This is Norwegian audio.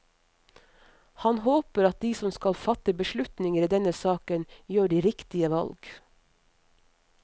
Han håper at de som skal fatte beslutninger i denne saken, gjør de riktige valg.